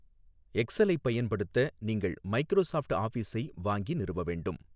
எக்ஸலைப் பயன்படுத்த நீங்கள் மைக்ரோசாஃப்ட் ஆஃபிஸை வாங்கி நிறுவ வேண்டும்.